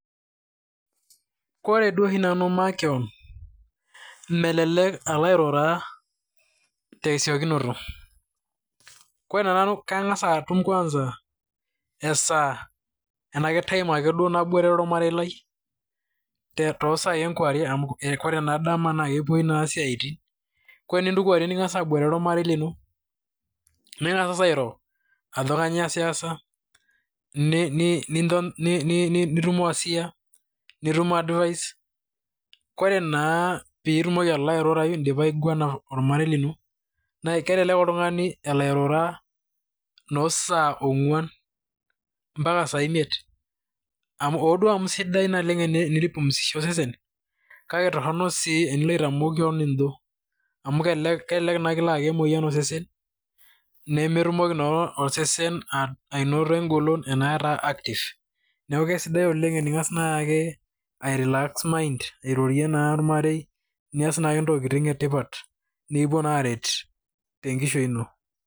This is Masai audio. Koree duo oshi nanu makeon, melelek alo airura tesiokinoto. Kore nanu kang'as atum kwanza esaa enaa kee time ake duo naboitare ormarei lai too sai enkewarie, kore naa dama na kepoi naa isiatin. Kore tiniltu kewarie ning'as aboitare ormarei lino, ning'as ng'asa airo ajo kainyo iyas iyasa, nitum wasia, nitum advice. Koree naa pitumoki alo airurayu idipa aiguana olmarei lino naa kelelek oltungani elo airura noo saa ong'uan mpaka saa imiet. Hoo duo amu sidai naleng' teni pumzisha osesen , kake toroni sii tenilo aitamok keon ijo, amu kekelek ina kilo ayaki emoyian tosesen. Nemetumoki naa osesen anoto egolon naa ataa active. Neeku kisidai oleng' tening'as naake ai relax mind , airorei naa ormarei, nias naake ntokitin etipat, nikipuo naa aret, tenkishui ino.